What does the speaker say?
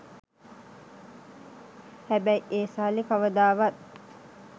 හැබැයි ඒ සල්ලි කවදාවත්